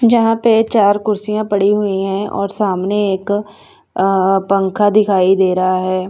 जहां पे चार कुर्सियां पड़ी हुई है और सामने एक अ अ पंखा दिखाई दे रहा है।